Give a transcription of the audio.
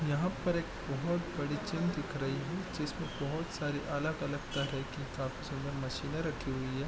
यहां पर एक बहुत बड़ी चिन्ह दिख रही है जिसमें बहुत सारी अलग-अलग तरह की काफी ज्यादा मशीने रखी हुई है।